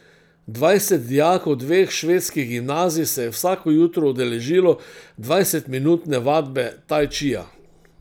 Dvajset dijakov dveh švedskih gimnazij se je vsako jutro udeležilo dvajsetminutne vadbe taj čija.